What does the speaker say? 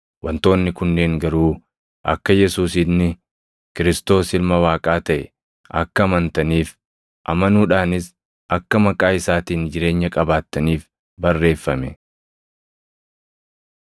Wantoonni kunneen garuu akka Yesuus inni Kiristoos + 20:31 yookaan Masiihicha Ilma Waaqaa taʼe akka amantaniif, amanuudhaanis akka maqaa isaatiin jireenya qabaattaniif barreeffame.